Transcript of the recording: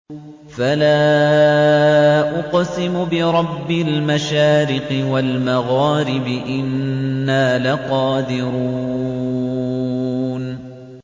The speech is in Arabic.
فَلَا أُقْسِمُ بِرَبِّ الْمَشَارِقِ وَالْمَغَارِبِ إِنَّا لَقَادِرُونَ